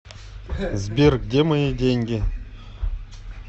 сбер где мои деньги